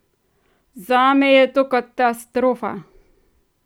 Zame je to katastrofa!